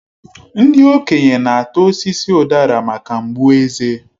Ndị okenye na-ata osisi udara maka mgbu eze.